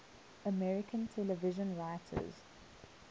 american television writers